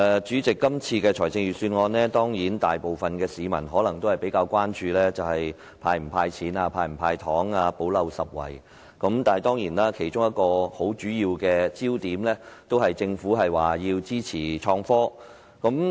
主席，關於今年的財政預算案，大部分市民可能比較關注的是會否"派錢"或"補漏拾遺"的方案，但其實其中一個很重要的焦點，是政府表示支持創新及科技。